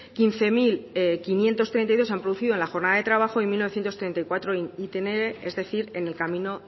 quince mil quinientos treinta y dos se han producido en la jornada de trabajo y mil novecientos treinta y cuatro en itinere es decir en el camino